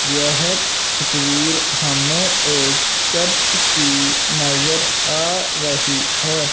यह तस्वीर हमें एक चर्च की नजर आ रही है।